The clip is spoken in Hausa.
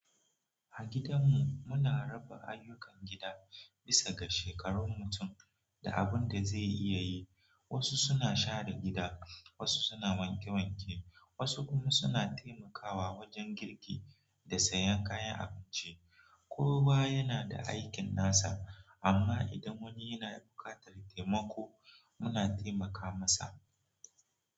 A gidan mu muna raba ayyukan gida bisa ga shekarun mutum da abun da zai iya yi. Wasu suna share gida, wasu suna wanke wanke, wasu kuma suna taimakawa wajen girki da sayan kayan abinci. Kowa yana da aikin nasa amma idan wani yana buƙatar taimako muna taimaka masa.